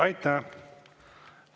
Aitäh!